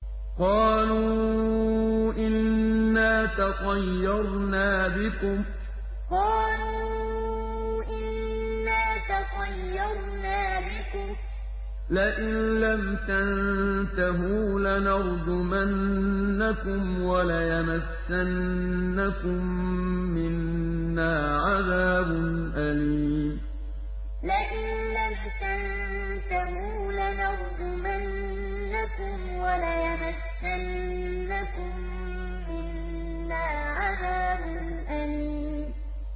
قَالُوا إِنَّا تَطَيَّرْنَا بِكُمْ ۖ لَئِن لَّمْ تَنتَهُوا لَنَرْجُمَنَّكُمْ وَلَيَمَسَّنَّكُم مِّنَّا عَذَابٌ أَلِيمٌ قَالُوا إِنَّا تَطَيَّرْنَا بِكُمْ ۖ لَئِن لَّمْ تَنتَهُوا لَنَرْجُمَنَّكُمْ وَلَيَمَسَّنَّكُم مِّنَّا عَذَابٌ أَلِيمٌ